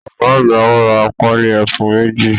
Ọ̀gá àgbà ra Pálí ẹfun méjì